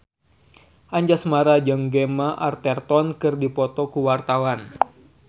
Anjasmara jeung Gemma Arterton keur dipoto ku wartawan